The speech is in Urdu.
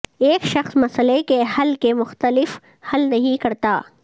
ایک شخص مسئلہ کے حل کے مختلف حل نہیں کرتا